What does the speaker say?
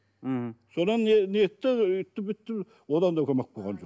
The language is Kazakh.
мхм содан нетті өйтті бүйтті одан да көмек болған жоқ